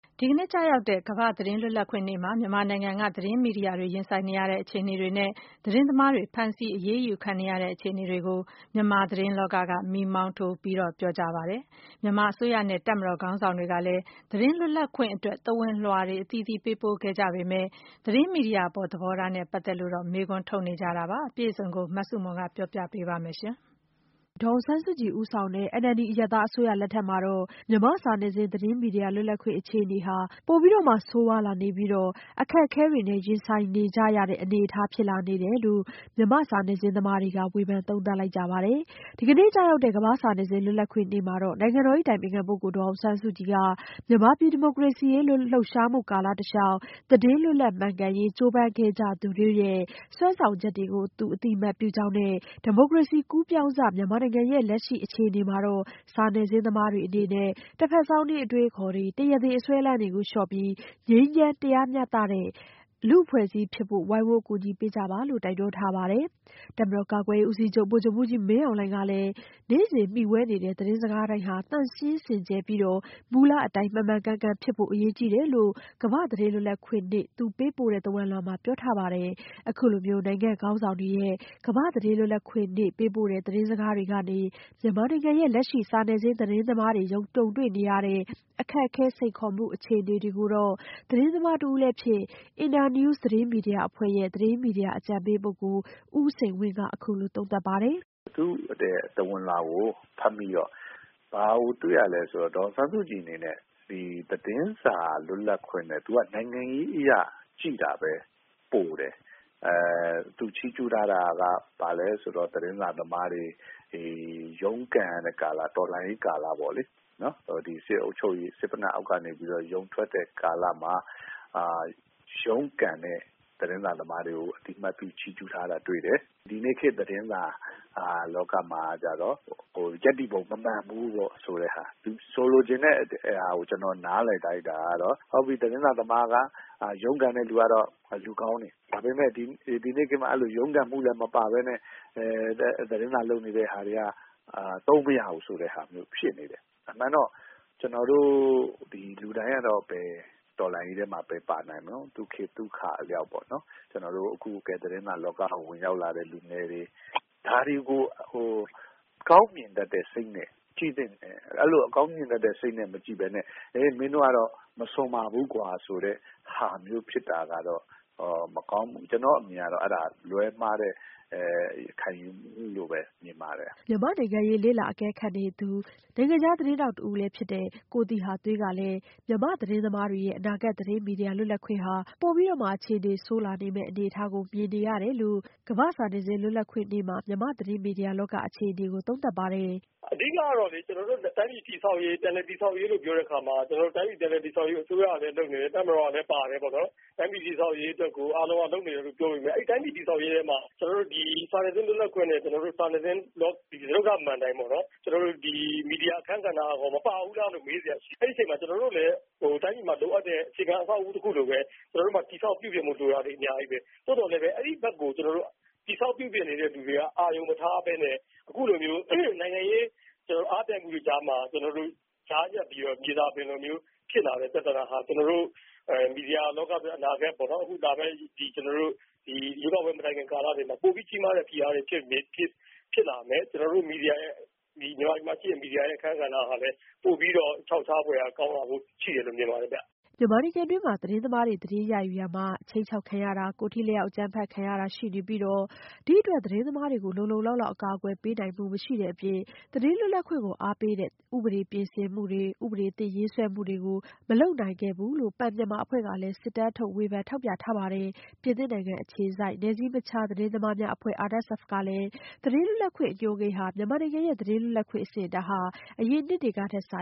ဒီနေ့ကျရောက်တဲ့ ကမ္ဘာ့သတင်းလွတ်လပ်ခွင့်နေ့မှာ မြန်မာနိုင်ငံက သတင်းမီဒီယာတွေ ရင်ဆိုင်နေရတဲ့ အခြေအနေတွေနဲ့ သတင်းသမားတွေ ဖမ်းဆီးအရေးယူခံနေရတဲ့ အခြေအနေတွေကို မြန်မာသတင်းလောကက မီးမောင်းထိုး ပြောဆိုလိုက်ကြပါတယ်။ မြန်မာအစိုးရနဲ့ တပ်မတော် ခေါင်းဆောင်တွေကလည်း သတင်းလွတ်လပ်ခွင့်အတွက် သဝဏ်လွှာတွေ အသီးသီး ပေးပို့ခဲ့ကြပေမဲ့ သတင်းမီဒီယာအပေါ် သဘောထားနဲ့ ပတ်သက်လို့ မေးခွန်းထုတ်နေကြတာပါ။ အပြည့်အစုံကိုတော့ မဆုမွန်က ပြောပြပေးမှာ ဖြစ်ပါတယ်။ ဒေါ်အောင်ဆန်းစုကြည်ဦးဆောင်တဲ့ NLD အရပ်သား အစိုးရလက်ထက်မှာ မြန်မာ့စာနယ်ဇင်းသတင်းမီဒီယာ လွတ်လပ်ခွင့်အခြေအနေဟာ ပိုပြီးတော့ ဆိုးဝါးလာပြီးအခက်ခဲတွေနဲ့ ရင်ဆိုင်လာနေကြရတဲ့ အနေအထားဖြစ်လာနေတယ်လို့ မြန်မာစာနယ်ဇင်းသမားတွေက ဝေဖန်သုံးသပ်လိုက်ကြပါတယ်။ ဒီကနေ့ကျရောက်တဲ့ ကမ္ဘာ့စာနယ်ဇင်းလွတ်လပ်ခွင့်နေ့မှာ နိုင်ငံတော်အတိုင်ပင်ခံဒေါ်အောင်ဆန်းစုကြည်က မြန်မာပြည် ဒီမိုကရေစီရေးလှုပ်ရှားမှု ကာလတလျောက် သတင်းလွတ်လပ်မှန်ကန်ရေး ကြိုးပမ်းခဲ့သူတွေရဲ့ စွမ်းဆောင်ချက်ကို အသိအမှတ်ပြုကြောင်းနဲ့ ဒီမိုကရေစီကူးပြောင်းစ အခြေအနေမှာ စာနယ်ဇင်းသမားတွေအနေနဲ့ တဘက်စောင်းနင်းအတွေးအခေါ်တွေ တရားသေအစွဲအလမ်းတွေကို လျော့ပြီး ငြိမ်းချမ်းတရားမျှတတဲ့ လူ့အဖွဲ့အစည်းဖြစ်ဖို့ ဝိုင်းဝန်းကူညီပေးကြပါလို့ တိုက်တွန်းထားပါတယ်။ တပ်မတော်ကာကွယ်ရေးဦးစီးချုပ် ဗိုလ်ချုပ်မှူးကြီးမင်းအောင်လှိုင်ကလည်း နေ့စဉ်မှီဝဲနေတဲ့ သတင်းစကားတိုင်းဟာ သန့်ရှင်းစင်ကြယ်ပြီး မူလအတိုင်း မှန်မှန်ကန်ကန်ဖြစ်ဖို့ အရေးကြီးတယ်လို့ ကမ္ဘာ့သတင်းလွတ်လပ်ခွင့်နေ့ သူ ပေးပို့တဲ့ သဝဏ်လွှာမှာ ပြောထားပါတယ်။ အခုလိုနိုင်ငံ့ခေါင်းဆောင်တွေရဲ့ ကမ္ဘာ့သတင်းလွတ်လပ်ခွင့်နေ့ ပေးပို့တဲ့သတင်းစကားတွေကနေ မြန်မာနိုင်ငံရဲ့ လက်ရှိစာနယ်ဇင်းသတင်းသမားတွေ ကြုံတွေ့နေရတဲ့ အခက်အခဲ စိန်ခေါ်မှု အခြေအနေတွေကိုတော့ သတင်းသမားတဦးလည်းဖြစ် Internews သတင်းမီဒီယာရဲ့ သတင်းမီဒီယာအကြံပေး ဦးစိန်ဝင်းက အခုလိုသုံးသပ်ပါတယ်။ "သဝဏ်လွှာကို ဖတ်မိတော့ ဘာကိုတွေ့ရလဲဆိုတော့ ဒေါ်အောင်ဆန်းစုကြည်အနေနဲ့ ဒီသတင်းစာလွတ်လပ်ခွင့်နဲ့ သူက နိုင်ငံရေးအရကြည့်တာပဲ ပိုတယ်။ သူချီးကျူးထားတာက ဘာလဲဆိုတော့ သတင်းစာသမားတွေ ဒီရုန်းကန်ရတဲ့ ကာလ တော်လှန်ရေးကာလပေါ့လေ။ ဒီစစ်အုပ်ချုပ်ရေး စစ်သေနတ်အောက်ကနေပြီးတော့ ရုန်းထွက်ရတဲ့ ကာလမှာ ရုန်းကန်တဲ့ သတင်းစာသမားတွေကို အသိအမှတ်ပြု ချီးကျူးထားတာတွေ့တယ်။ ဒီနေ့ခေတ်သတင်းစာလောကမှာကျတော့ ရပ်တည်ပုံ မမှန်ဘူးပေါ့...ဆိုတဲ့ဟာ။ သူဆိုလိုချင်တဲ့ဟာ ကျနော်နားလည်လိုက်တာကတော့ ဟုတ်ပြီ... သတင်းစာသမားက ရုန်းကန်တဲ့လူတွေကတော့ လူကောင်းတွေ ဒါပေမဲ့ ဒီနေ့ခေတ်မှာ အဲ့လို ရုန်းကန်မှုလည်းမပါဘဲနဲ့ သတင်းစာလုပ်နေတဲ့ဟာတွေက သုံးမရဘူးဆိုတဲ့ဟာမျိုး ဖြစ်နေတယ်။ အမှန်တော့ ကျနော်တို့လူတိုင်းကတော့ ဒီတော်လှန်ရေးထဲမှာ ဘယ်ပါနိုင်မတုံး။ သူ့ခေတ်သူ့အခါအလျောက်ပေါ့နော်။ ကျနော်တို့ သတင်းစာလောကကို ဝင်ရောက်လာတဲ့ လူငယ်တွေ ဒါတွေကို အကောင်းမြင်တတ်တဲ့စိတ်နဲ့ ကြည့်သင့်တယ်။ အဲ့လို အကောင်းမြင်တတ်တဲ့ စိတ်နဲ့ မကြည့်ဘဲနဲ့ မင်းတို့ကတော့ မစွန်ပါဘူးကွာဆိုတဲ့ဟာမျိုး ဖြစ်တာကတော့ မကောင်းဘူး။ ကျနော့်အမြင်ကတော့ အဲ့ဒါ လွဲမှားတဲ့ ခံယူမှုလို့ပဲ မြင်ပါတယ်။" မြန်မာ့နိုင်ငံရေးလေ့လာ အကဲခတ်နေသူ နိုင်ငံခြားသတင်းသမားတဦးလည်းဖြစ်တဲ့ ကိုသီဟသွေးကလည်း မြန်မာသတင်းသမားတွေရဲ့ အနာဂတ်သတင်းမီဒီယာလွတ်လပ်ခွင့်ဟာ ပိုအခြေအနေဆိုးလာမယ့် အနေအထားကို မြင်နေရတယ်လို့ ကမ္ဘာ့စာနယ်ဇင်း လွတ်လပ်ခွင့်နေ့မှာ မြန်မာသတင်းမီဒီယာလောက အခြေအနေကို သုံးသပ်ပါတယ်။ "အဓိကကတော့လေ ကျနော်တို့ တိုင်းပြည်တည်ဆောက်ရေး၊ ပြန်လည်တည်ဆောက်ရေးလို့ပြောတဲ့အခါမှာ ကျနော်တို့ တိုင်းပြည်ပြန်လည်တည်ဆောက်ရေးကို အစိုးရကလည်းလုပ်နေတယ်။ တပ်မတော်ကလည်းပါတယ်ပေါ့နော်။ တိုင်းပြည်ပြန်လည်တည်ဆောက်ရေးအတွက်ကို အားလုံးက လုပ်ပေမဲ့ အဲ့တိုင်းပြည်တည်ဆောက်ရေးထဲမှာ ကျနော်တို့ စာနယ်ဇင်းလွတ်လပ်ခွင့်နဲ့ ကျနော်တို့ စာနယ်ဇင်းလောက စတုတ္ထမဏ္ဍိုင်ပေါ့နော်။ ကျနော်တို့ မီဒီယာအခန်းကဏ္ဍကရော မပါဘူးလားလို့မေးစရာရှိတယ်။ အဲ့ဒီအချိန်မှာ ကျနော်တို့လည်း တိုင်းပြည်မှာရှိတဲ့ လိုတဲ့ အခြေခံ အဆောက်အဦးတခုလိုပဲ တည်ဆောက်ပြုပြင်ဖို့ လိုတာတွေအများကြီးပဲ။ သို့သော်အဲ့ဒီဘက်ကို တည်ဆောက်ပြုပြင်တဲ့သူတွေက အာရုံမထားဘဲနဲ့ အခုလိုမျိုး နိုင်ငံရေးအားပြိုင်မှုတွေကြားမှာ ကျနော်တို့ ကြားညှပ်ပြီးတော့ မြေစာပင်လိုမျိုး ဖြစ်လာတဲ့ ပြဿနာဟာ ကျနော်တို့ မီဒီယာလောကတွက် အနာဂတ်ပေါ့နော်... ဒီလာမယ့် ကျနော်တို့ ရွေးကောက်ပွဲမတိုင်ခင် ကာလတွေမှာ ပိုပြီးကြီးမားတဲ့ ဖိအားတွေဖြစ်လာမယ်။ ကျနော်တို့ မီဒီယာရဲ့ မြန်မာပြည်မှာရှိတဲ့ မီဒီယာရဲ့ အခန်းကဏ္ဍဟာလည်း ပိုပြီးတော့ ခြောက်ခြားဖွယ်ရာကောင်းလာဖို့ ရှိတယ်လို့ မြင်ပါတယ် ခင်ဗျ။" မြန်မာနိုင်ငံတွင်း သတင်းသမားတွေ သတင်းယူရာမှာ ခြိမ်းခြောက်ခံရတာတွေ ကိုယ်ထိလက်ရောက် အကြမ်းဖက်ခံရတာတွေ ရှိနေပြီး ဒီအတွက် သတင်းသမားတွေကို လုံလုံလောက်လောက် အကာအကွယ်ပေး နိုင်မှုမရှိခဲ့တဲ့ အပြင် သတင်းလွတ်လပ်ခွင့် ကို အားပေးတဲ့ ဥပဒေပြင်ဆင်မှုတွေ ဥပဒေသစ်ရေးဆွဲမှုတွေကိုလည်း မလုပ်နိုင်ခဲ့ဘူးလို့ Pen Myanmar အဖွဲ့က စစ်တမ်းထုတ် ဝေဖန် ထောက်ပြထားပါတယ်။ ပြင်သစ်နိုင်ငံ အခြေစိုက် နယ်စည်းမခြား သတင်းသမားများအဖွဲ့ ရဲ့ သတင်းလွတ်လပ်ခွင့် အညွန်းကိန်းမှာလည်း မြန်မာနိုင်ငံရဲ့ သတင်းမီဒီယာ လွတ်လပ်ခွင့် အဆင့်အတန်းဟာ အရင်နှစ်ကထက်စာ